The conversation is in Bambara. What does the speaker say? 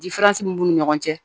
mun b'u ni ɲɔgɔn cɛ